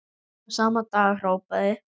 Og sama dag hrópaði